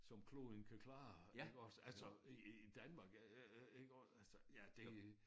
Som kloden kan klare ikke også altså i i Danmark øh iggås altså ja det